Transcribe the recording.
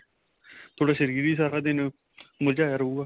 ਤੁਹਾਡਾ ਸ਼ਰੀਰ ਹੀ ਸਾਰਾ ਦਿਨ ਮੁਰਜਾਇਆ ਰਹੂਗਾ